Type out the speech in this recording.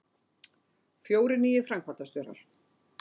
Fjórir nýir framkvæmdastjórar